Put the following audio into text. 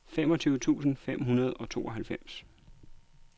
femogtyve tusind fem hundrede og tooghalvfems